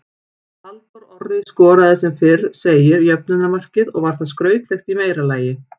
Halldór Orri skoraði sem fyrr segir jöfnunarmarkið og var það skrautlegt í meira lagi.